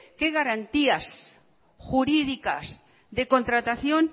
qué garantías jurídicas de contratación